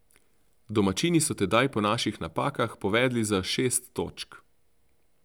Domačini so tedaj po naših napakah povedli za šest točk.